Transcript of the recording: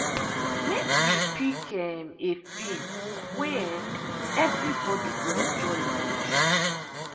make we pick um a film way um everybody go enjoy watch.